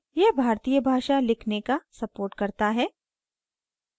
यह भारतीय भाषा लिखने का supports करता है